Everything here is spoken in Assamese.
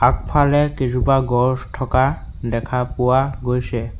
আগফালে কেজোপা গছ থকা দেখা পোৱা গৈছে।